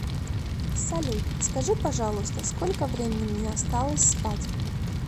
салют скажи пожалуйста сколько времени мне осталось спать